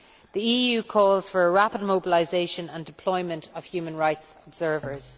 The EU calls for a rapid mobilisation and deployment of human rights observers.